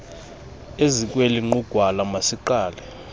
ezikweli nqugwala masiqale